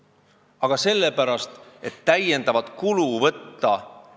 Aga sellepärast, et meil ei ole võimalik täiendavat kulu võtta.